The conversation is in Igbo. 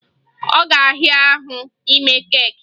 Ọ ga-ahịa ahụ ime keeki